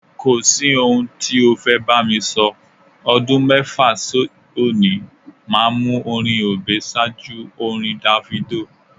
Kò sí ohun tí o fẹ́ bá mi sọ, ọdún mẹ́fà sí òní, màá mú orin Obey ṣáájú orin Davido.